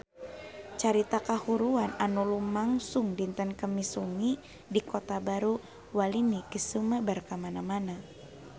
Carita kahuruan anu lumangsung dinten Kemis wengi di Kota Baru Walini geus sumebar kamana-mana